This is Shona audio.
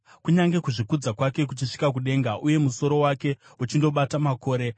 Kunyange kuzvikudza kwake kuchisvika kudenga, uye musoro wake uchindobata makore,